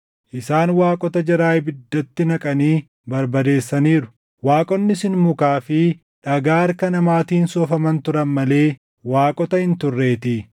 Isaan waaqota jaraa ibiddatti naqanii barbadeessaniiru; waaqonni sun mukaa fi dhagaa harka namaatiin soofaman turan malee waaqota hin turreetii.